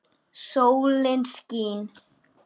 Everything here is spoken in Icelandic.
Sólin skín.